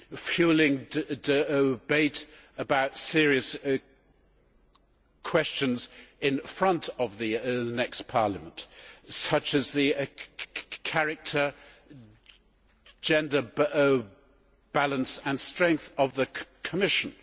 fuelling debate about serious questions in front of the next Parliament, such as the character, gender balance and strength of the Commission